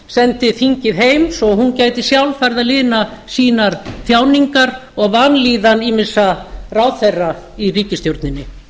sendi þingið heim svo hún gæti sjálf farið að lina sínar þjáningar og vanlíðan ýmissa ráðherra í ríkisstjórninni